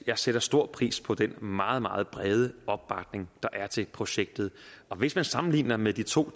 jeg sætter stor pris på den meget meget brede opbakning der er til projektet og hvis man sammenligner med de to